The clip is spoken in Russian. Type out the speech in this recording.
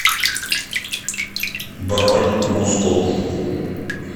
бронь мускул